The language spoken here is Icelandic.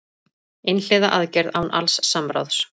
Einhliða aðgerð án alls samráðs